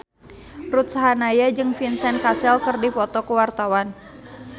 Ruth Sahanaya jeung Vincent Cassel keur dipoto ku wartawan